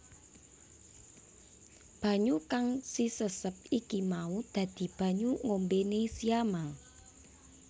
Banyu kang sisesep iki mau dadi banyu ngombene siamang